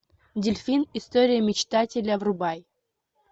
дельфин история мечтателя врубай